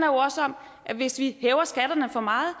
jo også om at hvis vi hæver skatterne for meget